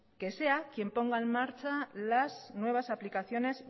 que sea quien ponga en marcha las nuevas aplicaciones